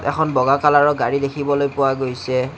এখন বগা কালাৰৰ গাড়ী দেখিবলৈ পোৱা গৈছে।